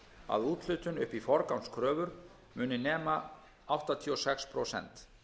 að úthlutun upp í forgangskröfur muni nema áttatíu og sex prósent